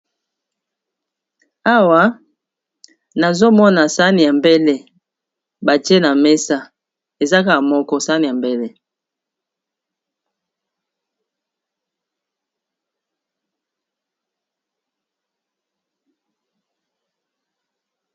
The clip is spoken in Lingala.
awa nazomona sani ya mbele batie na mesa ezakaa moko sani ya mbele